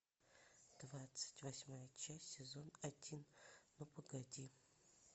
двадцать восьмая часть сезон один ну погоди